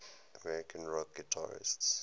american rock guitarists